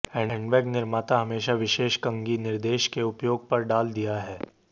handbag निर्माता हमेशा विशेष कंघी निर्देश के उपयोग पर डाल दिया है